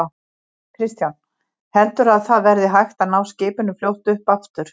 Kristján: Heldurðu að það verði hægt að ná skipinu fljótt upp aftur?